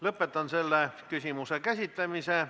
Lõpetan selle küsimuse käsitlemise.